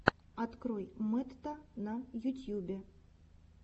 открой мэтта на ютьюбе